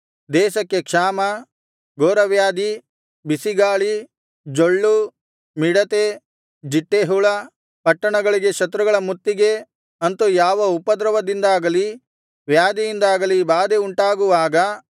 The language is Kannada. ದೇಶಕ್ಕೆ ಕ್ಷಾಮ ಘೋರವ್ಯಾಧಿ ಬಿಸಿಗಾಳಿ ಜೊಳ್ಳು ಮಿಡತೆ ಜಿಟ್ಟೇಹುಳ ಪಟ್ಟಣಗಳಿಗೆ ಶತ್ರುಗಳ ಮುತ್ತಿಗೆ ಅಂತು ಯಾವ ಉಪದ್ರವದಿಂದಾಗಲಿ ವ್ಯಾಧಿಯಿಂದಾಗಲಿ ಬಾಧೆ ಉಂಟಾಗುವಾಗ